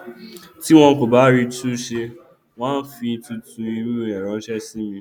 tí wọn kò bá rí i tún ṣe wọn á fi tuntun irú rẹ ránṣẹ sí mi